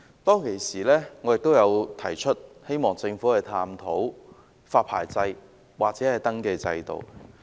當時我亦表示希望政府探討發牌制度或登記制度。